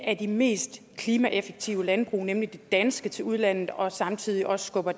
af de mest klimaeffektive landbrug nemlig det danske til udlandet og samtidig også skubber